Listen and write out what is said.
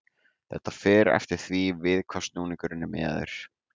Þetta fer eftir því við hvað snúningurinn er miðaður.